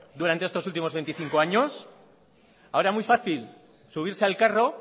durante estos últimos veinticinco años ahora muy fácil subirse al carro